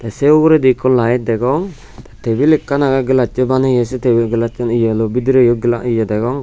sey uguredi ikko laet degong tebil ekkan agey gelassoi baneye sey tebil gelassan eyeloi bidireyo eye degong.